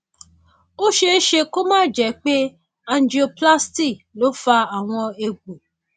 ó ṣeé ṣe kó má jẹ pé angioplasty ló fa àwọn egbò